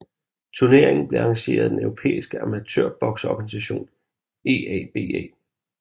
Turneringen blev arrangeret af den europæiske amatørbokseorganisation EABA